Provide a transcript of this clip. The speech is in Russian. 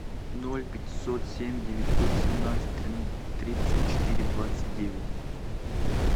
ноль пятьсот семь девятьсот семнадцать тридцать четыре двадцать девять